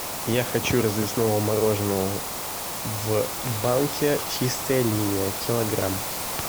я хочу развесного мороженого в банке чистая линия килограмм